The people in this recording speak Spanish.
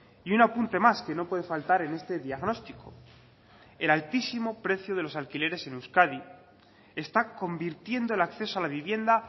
y un apunte más que no puede faltar en este diagnóstico el altísimo precio de los alquileres en euskadi está convirtiendo el acceso a la vivienda